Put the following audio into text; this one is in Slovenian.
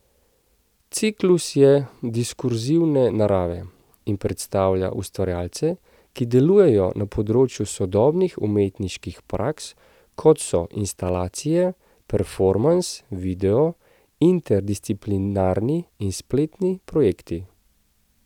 Ciklus je diskurzivne narave in predstavlja ustvarjalce, ki delujejo na področju sodobnih umetniških praks, kot so instalacije, performans, video, interdisciplinarni in spletni projekti.